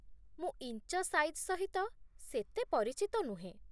ମୁଁ inch size ସହିତ ସେତେ ପରିଚିତ ନୁହେଁ ।